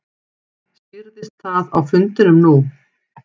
Skýrðist það á fundinum nú?